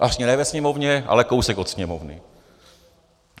Vlastně ne ve Sněmovně, ale kousek od Sněmovny.